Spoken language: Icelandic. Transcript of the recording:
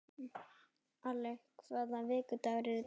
Alli, hvaða vikudagur er í dag?